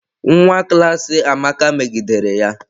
Nwa klas Amaka megidere ya.